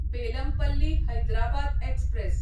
Bellampalli Hyderabad express